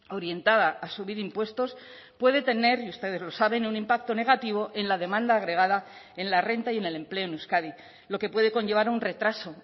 orientada a subir impuestos puede tener y ustedes lo saben un impacto negativo en la demanda agregada en la renta y en el empleo en euskadi lo que puede conllevar un retraso